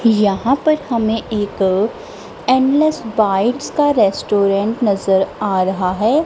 यहां पर हमें एक एंडलेस बाइट्स का रेस्टोरेंट नजर आ रहा है।